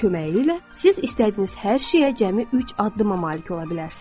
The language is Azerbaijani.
Onun köməyi ilə siz istədiyiniz hər şeyə cəmi üç addıma malik ola bilərsiniz.